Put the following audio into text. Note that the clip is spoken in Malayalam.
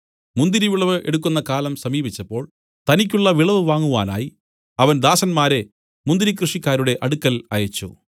മുന്തിരിവിളവ് എടുക്കുന്ന കാലം സമീപിച്ചപ്പോൾ തനിക്കുള്ള വിളവ് വാങ്ങുവാനായി അവൻ ദാസന്മാരെ മുന്തിരി കൃഷിക്കാരുടെ അടുക്കൽ അയച്ചു